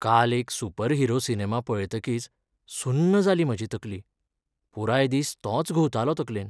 काल एक superhero cinema पळयतकीच सुन्न जाली म्हाजी तकली. पुराय दीस तोच घुंवतालो तकलेंत.